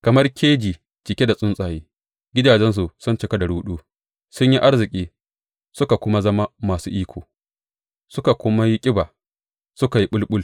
Kamar keji cike da tsuntsaye, gidajensu sun cika da ruɗu; sun yi arziki suka kuma zama masu iko suka kuma yi ƙiba, suka yi bul bul.